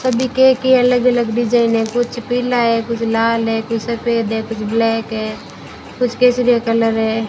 सभी केक के अलग-अलग डिजाइन है कुछ पीला है कुछ लाल है कुछ सफेद है कुछ ब्लैक है कुछ केसरिया कलर है।